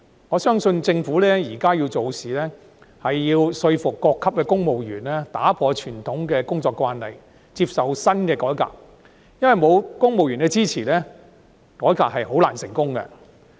我相信政府現在做事，需要說服各級公務員打破傳統的工作慣例，接受新的改革，因為欠缺公務員的支持，改革是很難成功的。